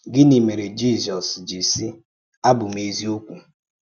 Gínị̀ mèré Jízọ́s ji sị: ‘Ábụ̀ m èzíòkwú’?